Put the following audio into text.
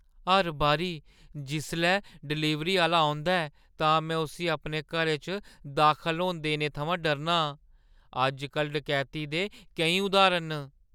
हर बारी जिसलै डलीवरी आह्‌ला औंदा ऐ, तां में उस्सी अपने घरै च दाखल होन देने थमां डरना आं। अज्जकल डकैती दे केईं उदाहरण न।